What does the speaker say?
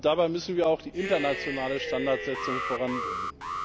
Dabei müssen wir auch die internationale Standardsetzung voranbringen.